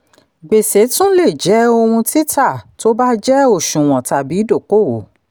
gbèsè tún lè jẹ́ ohun títà tó bá jẹ́ òṣùwọ̀n tàbí ìdókòwò.